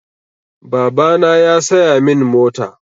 Babana ya saya min mota.